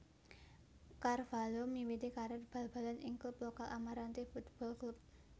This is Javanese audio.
Carvalho miwiti karir bal balan ing klub lokal Amarante Futebol Clube